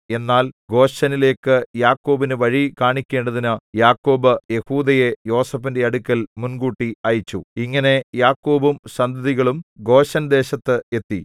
എന്നാൽ ഗോശെനിലേക്കു യാക്കോബിന് വഴി കാണിക്കേണ്ടതിന് യാക്കോബ് യെഹൂദയെ യോസേഫിന്റെ അടുക്കൽ മുൻകൂട്ടി അയച്ചു ഇങ്ങനെ യാക്കോബും സന്തതികളും ഗോശെൻദേശത്ത് എത്തി